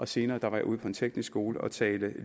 senere var jeg ude på en teknisk skole og talte